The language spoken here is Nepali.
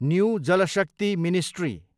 new Jal Shakti ministry